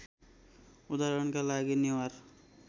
उदाहरणका लागि नेवार